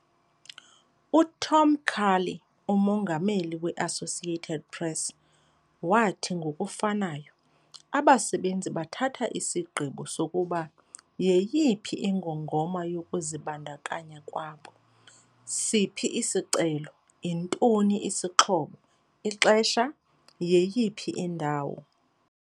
UTom Curley, uMongameli we-Associated Press, wathi ngokufanayo, "Abasebenzi bathatha isigqibo sokuba yeyiphi ingongoma yokuzibandakanya kwabo - siphi isicelo, yintoni isixhobo, ixesha, yeyiphi indawo."